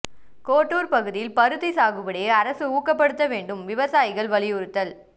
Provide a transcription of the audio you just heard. கோட்டூர் பகுதியில் பருத்தி சாகுபடியை அரசு ஊக்கப்படுத்த வேண்டும் விவசாயிகள் வலியுறுத்தல்